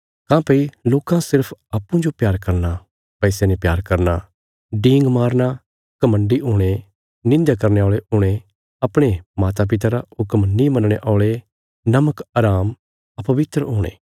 काँह्भई लोकां सिर्फ अप्पूँजो प्यार करना पैसे ने प्यार करना डींग मारना घमण्डी हुणे निंध्या करने औल़े हुणे अपणे मातापिता रा हुक्म नीं मनणे औल़े नमकहराम अपवित्र हुणे